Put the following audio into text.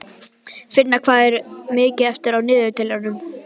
Finna, hvað er mikið eftir af niðurteljaranum?